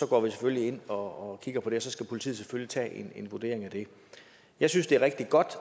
går selvfølgelig ind og kigger på det og så skal politiet selvfølgelig tage en vurdering af det jeg synes det er rigtig godt